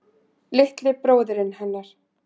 Litli bróðirinn hennar.